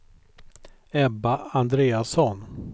Ebba Andreasson